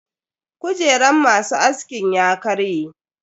Kujeran masu askin ya karye.